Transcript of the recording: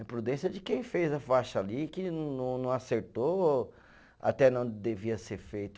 A imprudência de quem fez a faixa ali, que não não acertou, até na onde devia ser feito.